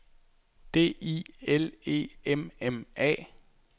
D I L E M M A